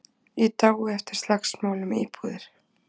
Í dái eftir slagsmál um íbúðir